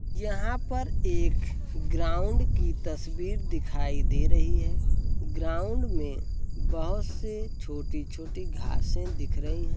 यहां पर एक ग्राउंड की तस्वीर दिखाई दे रही है। ग्राउंड में बोहोत से छोटी-छोटी घासें दिख रही हैं।